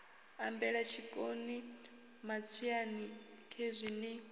ambela tshiṋoni matswiani khezwi ni